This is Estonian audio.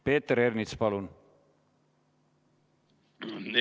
Peeter Ernits, palun!